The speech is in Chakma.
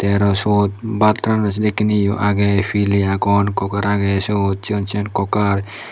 te aro siyot baat ranonne sedekken ye o aage pile agon cooker aage sot sigon sigon cooker.